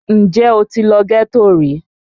Ǹjẹ́ o ti lọ ghetto rí?